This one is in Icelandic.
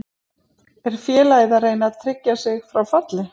Er félagið að reyna að tryggja sig frá falli?